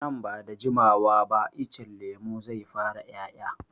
Nan ba da jimawa ba icen lemun zai fara 'ya'ya.